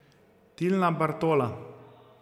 Tilna Bartola.